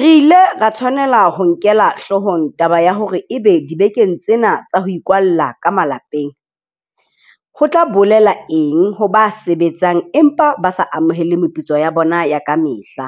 Re ile ra tshwanela ho e nkela hloohong taba ya hore ebe dibekeng tsena tsa ho ikwalla ka malapeng, ho tla bolela eng ho ba sebetsang empa ba sa amohele meputso ya bona ya kamehla,